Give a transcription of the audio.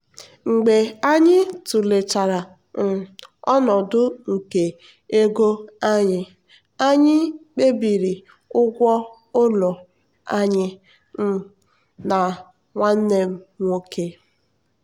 mgbe anyị tụlechara um ọnọdụ nke ego anyị anyị kpebiri ụgwọ ụlọ anyị um na nwanne m nwoke.